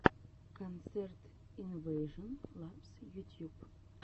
концерт инвэйжон лабс ютьюб